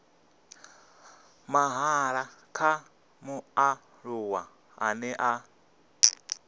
mahala kha mualuwa ane a